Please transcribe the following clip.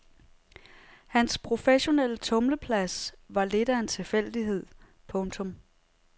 Hans professionelle tumleplads var lidt af en tilfældighed. punktum